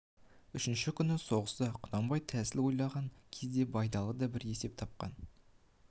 үшінші күнгі соғыста құнанбай тәсіл ойлаған кезде байдалы да бір есеп тапқан